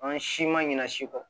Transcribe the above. An si ma ɲina si kɔ